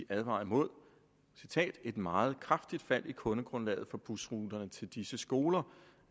advaret mod et meget kraftigt fald i kundegrundlaget for busruterne til disse skoler